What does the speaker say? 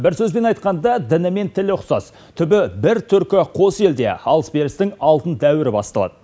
бір сөзбен айтқанда діні мен тілі ұқсас түбі бір түркі қос елде алыс берістің алтын дәуірі басталады